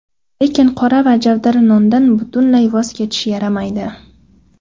Lekin qora va javdari nondan butunlay voz kechish yaramaydi.